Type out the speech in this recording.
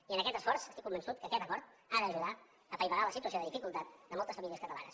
i en aquest esforç estic convençut que aquest acord ha d’ajudar a apaivagar la situació de dificultat de moltes famílies catalanes